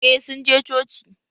Eh, sun je coci